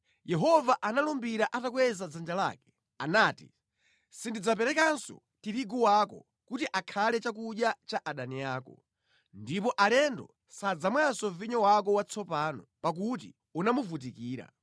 Yehova analumbira atakweza dzanja lake. Anati, “Sindidzaperekanso tirigu wako kuti akhale chakudya cha adani ako, ndipo alendo sadzamwanso vinyo wako watsopano pakuti unamuvutikira.